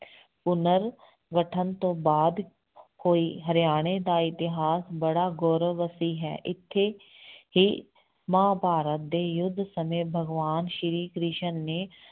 ਪੁਨਰ ਗਠਨ ਤੋਂ ਬਾਅਦ ਹੋਈ, ਹਰਿਆਣੇ ਦਾ ਇਤਿਹਾਸ ਬੜਾ ਗੋਰਵਤੀ ਹੈ, ਇੱਥੇ ਹੀ ਮਹਾਂਭਾਰਤ ਦੇ ਯੁੱਧ ਸਮੇਂ ਭਗਵਾਨ ਸ੍ਰੀ ਕ੍ਰਿਸ਼ਨ ਨੇ